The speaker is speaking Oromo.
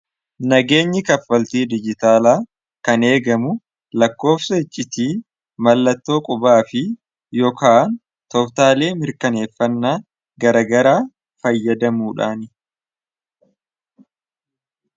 nageenyi kaffaltii dijitaalaa kan eegamu lakkoofsa iccitii mallattoo qubaa fi yookaan toftaalei mirkaneeffannaa garagara fayyadamuudhaani